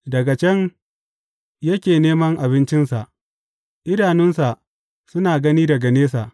Daga can yake neman abincinsa; idanunsa suna gani daga nesa.